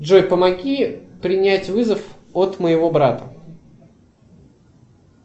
джой помоги принять вызов от моего брата